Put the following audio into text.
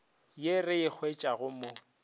ye re e hwetšago mo